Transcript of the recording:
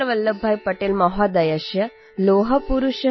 शुभकामनाः सन्ति| सरदारवल्लभभाईपटेलमहोदयः 'लौहपुरुषः' इत्युच्यते | २०१३